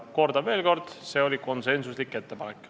Kordan veel kord: see oli konsensuslik ettepanek.